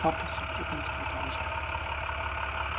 папа с упрёком сказал я